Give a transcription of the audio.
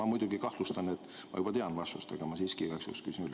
Ma muidugi kahtlustan, et ma juba tean vastust, aga ma siiski igaks juhuks küsin üle.